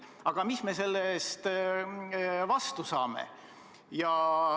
Aga mida me selle eest vastu saame?